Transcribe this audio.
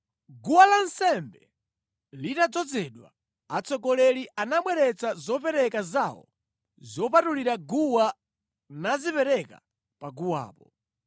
Guwa la nsembe litadzozedwa, atsogoleri anabweretsa zopereka zawo zopatulira guwa nazipereka paguwapo.